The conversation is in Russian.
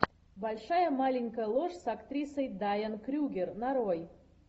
большая маленькая ложь с актрисой дайан крюгер нарой